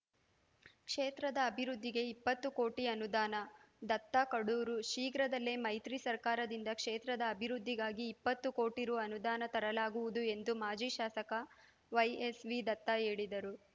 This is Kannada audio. ಕ್ಷೇತ್ರದ ಅಭಿವೃದ್ಧಿಗೆ ಇಪ್ಪತ್ತು ಕೋಟಿ ಅನುದಾನ ದತ್ತ ಕಡೂರು ಶೀಘ್ರದಲ್ಲೇ ಮೈತ್ರಿ ಸರ್ಕಾರದಿಂದ ಕ್ಷೇತ್ರದ ಅಭಿವೃದ್ಧಿಗಾಗಿ ಇಪ್ಪತ್ತು ಕೋಟಿ ರು ಅನುದಾನ ತರಲಾಗುವುದು ಎಂದು ಮಾಜಿ ಶಾಸಕ ವೈಎಸ್‌ ವಿದತ್ತ ಹೇಳಿದರು